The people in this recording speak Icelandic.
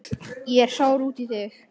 Ég er sár út í þig.